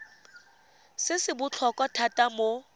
se se botlhokwa thata mo